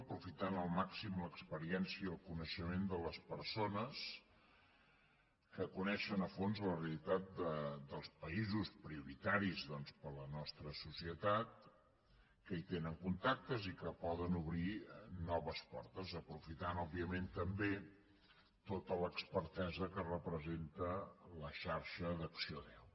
aprofitant al màxim l’experiència i el coneixement de les persones que coneixen a fons la realitat dels països prioritaris per a la nostra societat que hi tenen contactes i que poden obrir noves portes aprofitant òbviament també tota l’expertesa que representa la xarxa d’acció deu